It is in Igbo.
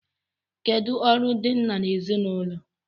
Kedụ ọrụ ndị nna n'ezinụlọ?